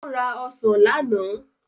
Ó ra ọsàn lánàá.